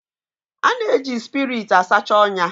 A na-eji spiriit a sacha ọnya